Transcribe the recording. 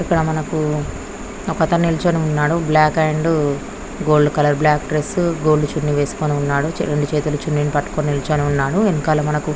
ఇక్కడ ఒక అతను నిల్చొని ఉన్నాడు. బ్లాక్ అండ్ గోల్డ్ కలర్ రెండు చేతులతో చున్నీ పట్టుకొని నిల్చొని ఉన్నాడు.